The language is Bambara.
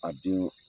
A den